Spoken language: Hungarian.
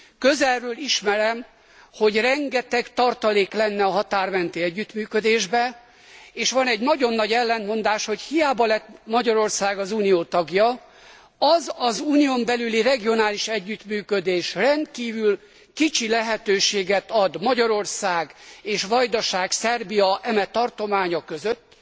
Közelről ismerem, hogy rengeteg tartalék lenne a határ menti együttműködésben és van egy nagyon nagy ellentmondás, hogy hiába lett Magyarország az Unió tagja, az az Unión belüli regionális együttműködés rendkívül kicsi lehetőséget ad Magyarország és Vajdaság, Szerbia eme tartománya között,